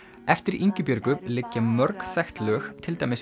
eftir Ingibjörgu liggja mörg þekkt lög til dæmis